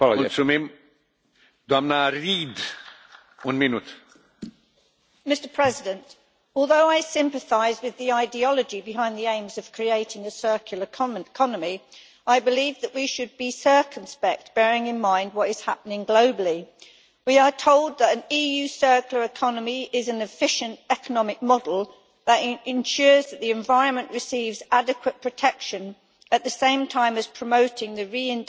Mr President, although I sympathise with the ideology behind the aims of creating a circular economy, I believe that we should be circumspect, bearing in mind what is happening globally. We are told that an EU circular economy is an efficient economic model that ensures that the environment receives adequate protection, at the same time as promoting reindustrialisation and competitiveness in Europe.